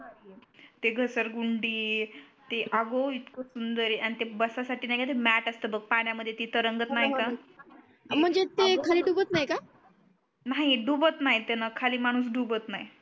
ते घसरगुंडी ते अग इतक सुंदर आहे आणि ते बसासाठी नाही का ते मॅट असत बग पाण्या मध्ये ते तरंगत नाही का हो णा हो णा ते म्हणजे ते खाली डूबत नाही का नाही डूबत नाही त्यान खाली माणूस डूबत नाही